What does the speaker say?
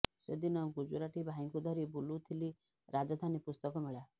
ସେ ଦିନ ଗୁଜୁରାଟି ଭାଇଙ୍କୁ ଧରି ବୁଲୁଥିଲି ରାଜଧାନୀ ପୁସ୍ତକ ମେଳା